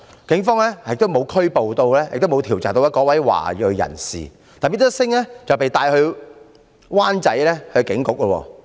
警方沒有調查和拘捕該名華裔人士，但 Mr SINGH 卻被帶到灣仔警署。